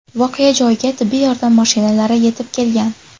Voqea joyiga tibbiy yordam mashinalari yetib kelgan.